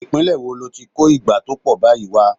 Ìpínlè wo lo ti kó ìgbá tó pọ̀ báyìí wà?